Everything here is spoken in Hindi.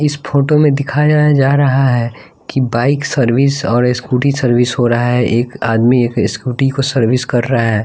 इस फोटो में दिखाया जा रहा है कि बाइक सर्विस और स्कूटी सर्विस हो रहा है एक आदमी एक स्कूटी को सर्विस कर रहा है।